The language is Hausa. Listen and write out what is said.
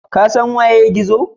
Ka san wanene Gizo?